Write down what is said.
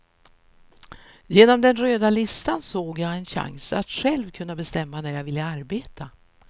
Genom den röda listan såg jag en chans att själv kunna bestämma när jag ville arbeta.